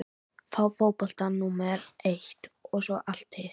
Fá fótboltann númer eitt og svo allt hitt?